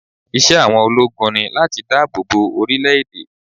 Iṣẹ́ àwọn ológun ni láti dáàbò bo orílẹ̀ èdè.